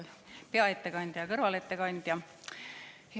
Hea peaettekandja ja ka kõrvalettekandja!